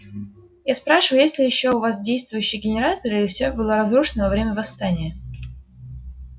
я спрашиваю есть ли ещё у вас действующие генераторы или все было разрушено во время восстания